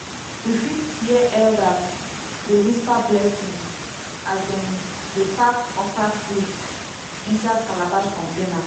you fit hear elders dey whisper blessing as dem dey pack okra seeds inside calabash container.